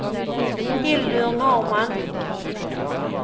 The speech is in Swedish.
Hildur Norrman